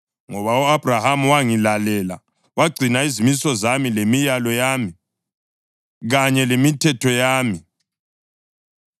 ngoba u-Abhrahama wangilalela, wagcina izimiso zami, lemilayo yami, kanye lemithetho yami.”